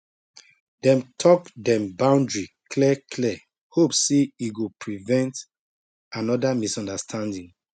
dem talk dem boundary clear clear hope say e go prevent another misunderstanding